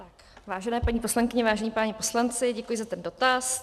Vážené paní poslankyně, vážení páni poslanci, děkuji za ten dotaz.